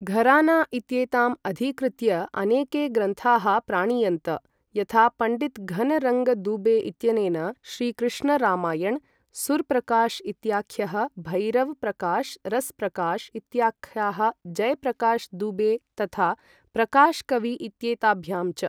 घराना इत्येताम् अधिकृत्य अनेके ग्रन्थाः प्राणीयन्त, यथा पं. घन् रङ्ग् दूबे इत्यनेन श्री कृष्ण् रामायण्, सुर्प्रकाश् इत्याख्यः, भैरव्, प्रकाश्, रस्प्रकाश् इत्याखाः जय् प्रकाश् दूबे तथा प्रकाश् कवि इत्येताभ्यां च।